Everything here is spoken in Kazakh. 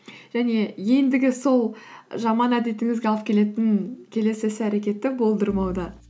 және ендігі сол жаман әдетіңізге алып келетін келесі іс әрекетті болдырмауда